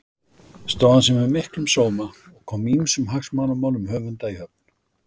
Stóð hann sig með miklum sóma og kom ýmsum hagsmunamálum höfunda í höfn.